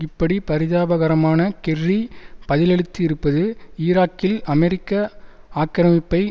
இப்படி பரிதாபகரமான கெர்ரி பதிலளித்து இருப்பது ஈராக்கில் அமெரிக்க ஆக்கிரமிப்பை